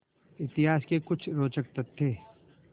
इतिहास के कुछ रोचक तथ्य